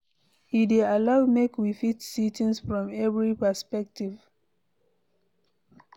E dey allow make we fit see things from every perspective